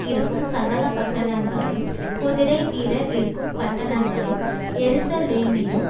இருக்கும் சகல பட்டணங்களையும் குதிரைவீரர் இருக்கும் பட்டணங்களையும் எருசலேமிலும்